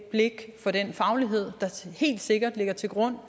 blik for den faglighed der helt sikkert ligger til grund